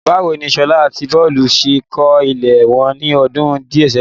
Báwo ni Sola àti Bolu ṣe kọ́ ilé wọn ní ọdún díẹ̀ sẹ́yìn?